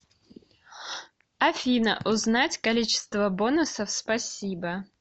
афина узнать количество бонусов спасибо